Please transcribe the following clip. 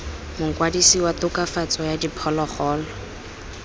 mokwadise wa tokafatso ya diphologolo